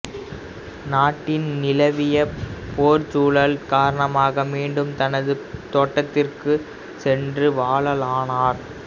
நாட்டின் நிலவியப் போர்ச்சூழல் காரணமாக மீண்டும் தனது தோட்டத்திற்குச் சென்று வாழலானார்